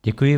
Děkuji.